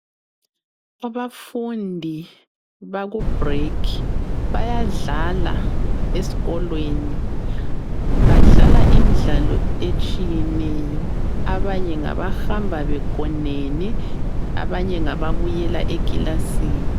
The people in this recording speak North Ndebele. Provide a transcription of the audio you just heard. abafundi baku bhulekhi bayadlala esikolweni badlala imidlalo etshiyeneyo abanye ngabahamba begoneni abanye ngaba buyela eklilasini